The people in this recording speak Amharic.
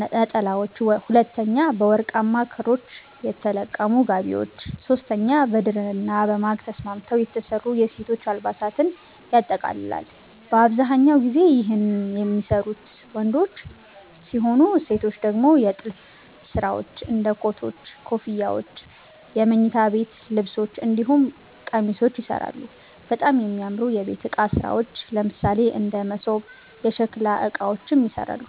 ነጠላዎች፤ 2)በወርቃማ ክሮች የተለቀሙ ጋቢዎች፤ 3)በድርና በማግ ተስማምተዉ የተሰሩ የሴቶች አልባሳትን ያጠቃልላል። በአብዛኛው ጊዜ ይህን የሚሰሩት ወንዶች ሲሆኑ ሴቶች ደግሞ የጥልፍ ስራዎች እንደ ኮቶች, ኮፍያዎች የመኝታ ቤት ልብሶች እንዲሁም ቄሚሶችንም ይሰራሉ፣ በጣም የሚያምሩ የቤት እቃ ስራዎች ለምሳሌ እንደ መሶብ፣ የሸከላ እቃዎችንም ይሰራሉ።